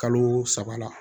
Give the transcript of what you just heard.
Kalo saba la